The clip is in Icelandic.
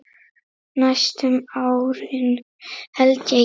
Næstu árin held ég, já.